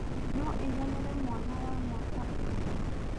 No ĩiganĩrĩ mwana wa mwaka ũmwe?